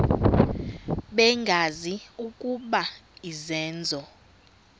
bengazi ukuba izenzo